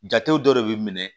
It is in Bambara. Jatew dɔ de bɛ minɛ